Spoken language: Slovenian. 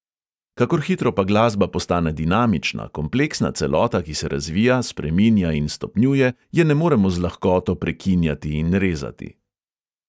Kakor hitro pa glasba postane dinamična, kompleksna celota, ki se razvija, spreminja in stopnjuje, je ne moremo z lahkoto prekinjati in rezati.